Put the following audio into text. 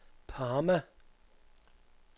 Parma